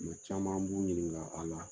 Nka caman b'u ɲininka a la.